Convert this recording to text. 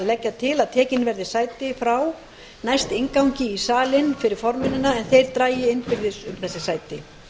leggja til að tekin verði frá sæti næst inngangi í salinn fyrir formennina en þeir dragi innbyrðis um þessi sæti